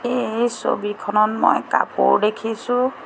এই ছবিখনত মই কাপোৰ দেখিছোঁ।